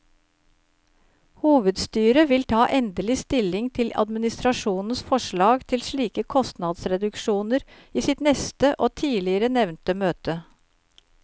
Hovedstyret vil ta endelig stilling til administrasjonens forslag til slike kostnadsreduksjoner i sitt neste og tidligere nevnte møte.